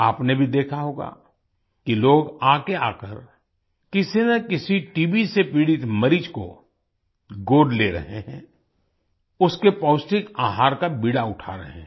आपने भी देखा होगा कि लोग आगे आकर किसी ना किसी टीबी से पीड़ित मरीज को गोद ले रहे हैं उसके पौष्टिक आहार का बीड़ा उठा रहे हैं